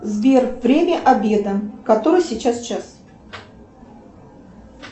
сбер время обеда который сейчас час